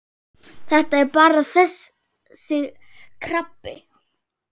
Þetta er bara þessi krabbi.